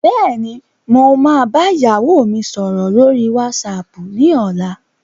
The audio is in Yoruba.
Bẹ́ẹ̀ni, mo máa bá ìyàwó mi sọ̀rọ̀ lórí whatsapp ni ọ̀la.